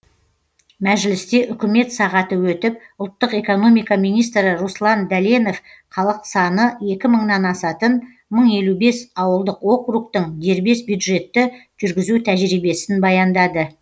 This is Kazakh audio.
мәжілісте үкімет сағаты өтіп ұлттық экономика министрі руслан дәленов халық саны екі мыңнан асатын мың елу бес ауылдық округтің дербес бюджетті жүргізу тәжірибесін баяндады